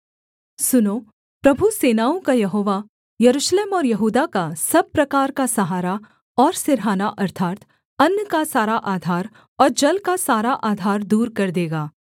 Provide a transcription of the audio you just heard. सुनों प्रभु सेनाओं का यहोवा यरूशलेम और यहूदा का सब प्रकार का सहारा और सिरहाना अर्थात् अन्न का सारा आधार और जल का सारा आधार दूर कर देगा